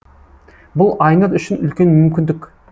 бұл айнұр үшін үлкен мүмкіндік